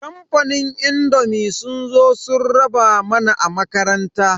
Kamfanin indomi sun zo sun raba mana a makaranta.